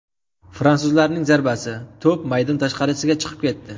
Fransuzlarning zarbasi, to‘p maydon tashqarisiga chiqib ketdi.